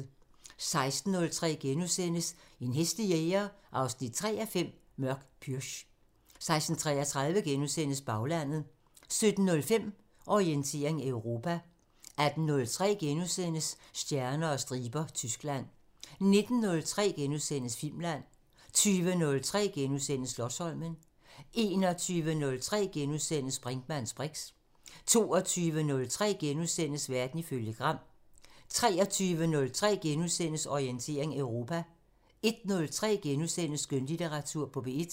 16:03: En hæslig jæger 3:5 – Mørk pürch * 16:33: Baglandet * 17:05: Orientering Europa 18:03: Stjerner og striber – Tyskland * 19:03: Filmland * 20:03: Slotsholmen * 21:03: Brinkmanns briks * 22:03: Verden ifølge Gram * 23:03: Orientering Europa * 01:03: Skønlitteratur på P1 *